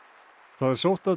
það er sótt að